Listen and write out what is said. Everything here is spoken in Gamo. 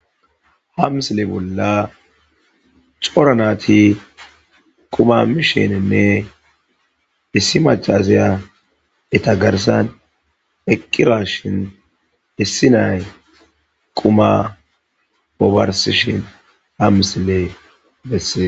Hamsile bolla cora naati quma misheninne issi maccasiya eta garssan eqqirashin issi nay quma obarsishin ha misile bessee.